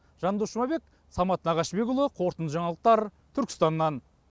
жандос жұмабек самат нағашыбекұлы қорытынды жаңалықтар түркістаннан